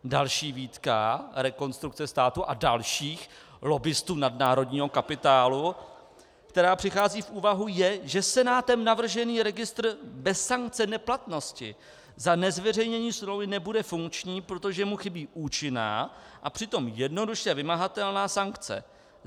Další výtka Rekonstrukce státu a dalších lobbistů nadnárodního kapitálu, která přichází v úvahu, je, že Senátem navržený registr bez sankce neplatnosti za nezveřejnění smlouvy nebude funkční, protože mu chybí účinná a přitom jednoduše vymahatelná sankce.